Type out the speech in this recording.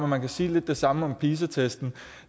man kan sige lidt det samme om pisa testen